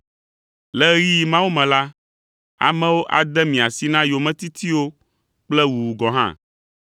“Le ɣeyiɣi mawo me la, amewo ade mi asi na yometitiwo kple wuwu gɔ̃ hã.